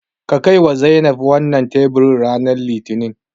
Ka kaiwa Zainab wannan teburin ranar Litinin.